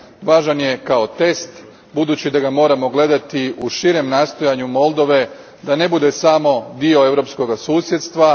Važan je kao test, budući da ga moramo gledati u širem nastojanju Moldove da ne bude samo dio europskog susjedstva.